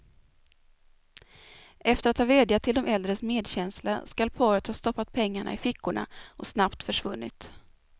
Efter att ha vädjat till de äldres medkänsla skall paret ha stoppat pengarna i fickorna och snabbt försvunnit.